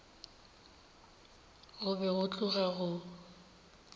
go be go tloga go